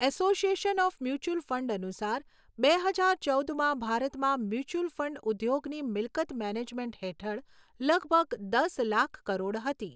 Association of mutual fund અનુસાર બે હજાર ચૌદમાં ભારતમાં મ્યુચ્યુઅલ ફંડ ઉદ્યોગની મિલકત મેનેજમેન્ટ હેઠળ લગભગ દસ લાખ કરોડ હતી.